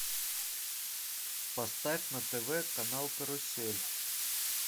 поставь на тв канал карусель